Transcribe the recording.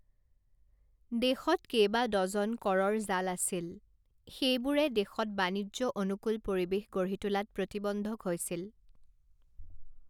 দেশত কেইবা ডজন কৰৰ জাল আছিল, সেইবোৰে দেশত বাণিজ্যঅনুকূল পৰিৱেশ গঢ়ি তোলাত প্ৰতিবন্ধক হৈছিল।